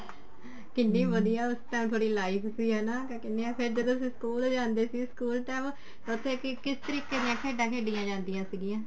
ਕਿੰਨੀ ਵਧੀਆ ਉਸ ਟੇਮ ਥੋੜੀ life ਸੀ ਹਨਾ ਕਿਆ ਕਹਿਨੇ ਆਂ ਫ਼ੇਰ ਜਦੋਂ ਤੁਸੀਂ ਸਕੂਲ ਜਾਂਦੇ ਸੀ ਸਕੂਲ time ਉੱਥੇ ਕਿਸ ਤਰੀਕੇ ਦੀਆਂ ਖੇਡਾਂ ਖੇਡੀਆਂ ਜਾਂਦੀਆਂ ਸੀਗੀਆਂ